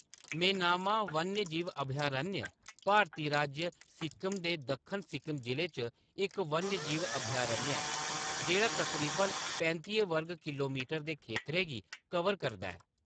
मेनामा वन्यजीव अभयारण्य भारती राज्य सिक्किम दे दक्खन सिक्किम जिले च इक वन्यजीव अभयारण्य ऐ जेह्‌‌ड़ा तकरीबन पैंतियें वर्ग किल्लोमीटर दे खेतरै गी कवर करदा ऐ।